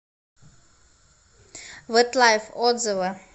вэтлайф отзывы